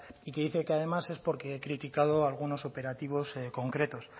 y que dice que además es porque he criticado algunos operativos concretos